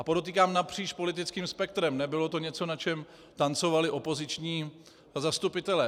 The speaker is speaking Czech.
A podotýkám - napříč politickým spektrem, nebylo to něco, na čem tancovali opoziční zastupitelé.